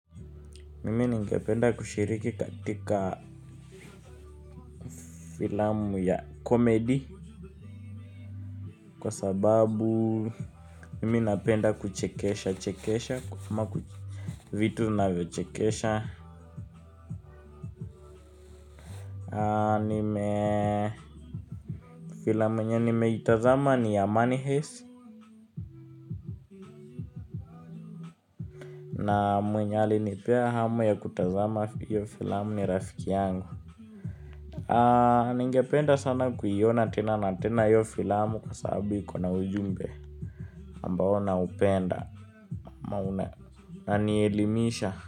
Mimi ningependa kushiriki katika filamu ya komedi kwa sababu mimi napenda kuchekesha chekesha ama ku vitu vinavyochekesha Anime filamu yenye nimeitazama ni ya money heist. Na mwenye alinipea hamu ya kutazama hiyo filamu ni rafiki yangu. Ningependa sana kuiona tena na tena hiyo filamu. Kwa sababu iko na ujumbe ambao naupenda ama unanielimisha.